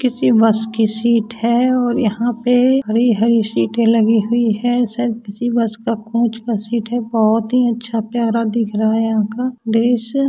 किसी बस की सीट है और यहाँ पे हरी-हरी सीटे लगी हुई है शायद किसी बस का कोच का सीट है बहोत ही अच्छा प्यारा दिख रहा है यहाँ का।